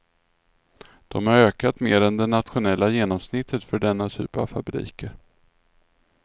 De har ökat mer än det nationella genomsnittet för denna typ av fabriker.